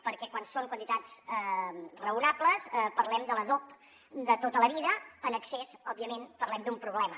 perquè quan són quantitats raonables parlem de l’adob de tota la vida en excés òbviament parlem d’un problema